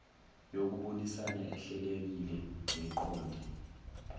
yokubonisana ehlelekile neqonde